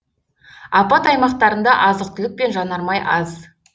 апат аймақтарында азық түлік пен жанармай аз